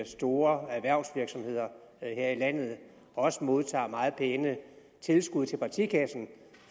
store erhvervsvirksomheder her i landet og også modtager meget pæne tilskud til partikassen